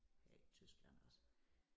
Her i Tyskland også